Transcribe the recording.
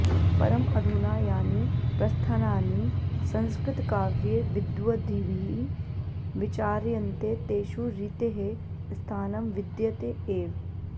परम् अधुना यानि प्रस्थानानि संस्कृतकाव्ये विद्वद्भिः विचार्यन्ते तेषु रीतेः स्थानं विद्यते एव